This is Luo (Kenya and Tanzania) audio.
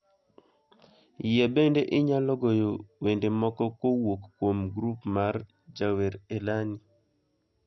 Yie bende inyalo goyo wende moko kowuok kuom grup mar jawer elani